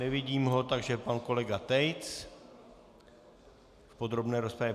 Nevidím ho, takže pan kolega Tejc v podrobné rozpravě.